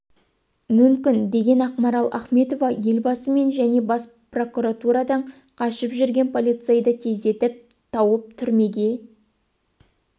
мүмкін деген ақмарал ахметова елбасы мен және бас прокуратурадан қашып жүрген полицейді тездетіп тауып түрмеге